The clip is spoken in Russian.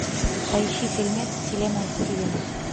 поищи фильмец вселенная стивена